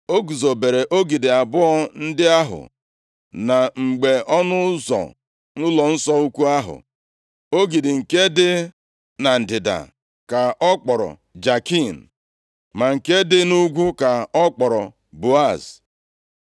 O guzobere ogidi abụọ ndị ahụ na mgbe ọnụ ụzọ ụlọnsọ ukwu ahụ. Ogidi nke dị na ndịda ka ọ kpọrọ Jakin, ma nke dị nʼugwu ka ọ kpọrọ Boaz.